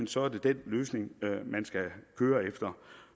så er det den løsning man skal køre efter